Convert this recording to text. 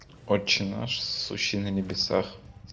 отче наш сущий на небесах